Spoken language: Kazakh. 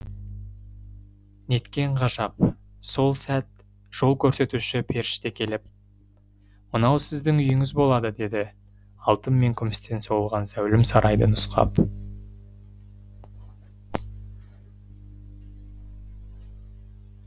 неткенғажап сол сәт жол көрсетуші періштекеліп мынау сіздің үйіңіз болады деді алтын мен күмістен соғылған зәулім сарайды нұсқап